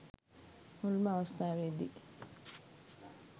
මුල්ම අවස්ථාවේදි